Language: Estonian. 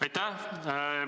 Aitäh!